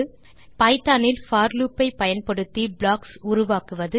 Python இல் for loop ஐ பயன்படுத்தி ப்ளாக்ஸ் உருவாக்குவது 2